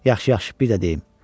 Yaxşı, yaxşı, bir də deyim.